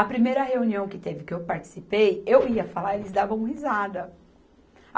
A primeira reunião que teve, que eu participei, eu ia falar e eles davam risada.